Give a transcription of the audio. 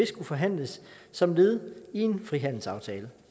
skulle forhandles som led i en frihandelsaftale